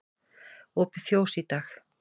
Opið fjós í dag